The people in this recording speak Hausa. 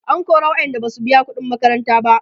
an kora waƴanda Basu biya ƙuɗin makaranta ba